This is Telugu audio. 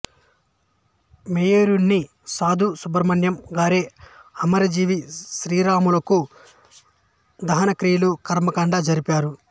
యేర్నేని సాధు సుబ్రహ్మణ్యం గారే అమరజీవి శ్రీరాములకు దహనక్రియలు కర్మకాండ జరిపారు